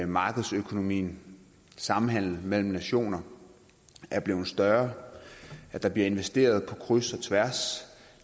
markedsøkonomien samhandel mellem nationer er blevet større at der bliver investeret på kryds og tværs